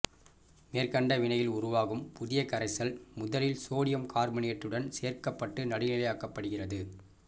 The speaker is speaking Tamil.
மேற்கண்ட வினையில் உருவாகும் புதிய கரைசல் முதலில் சோடியம் கார்பனேட்டுடன் சேர்க்கப்பட்டு நடுநிலையாக்கப்படுகிறது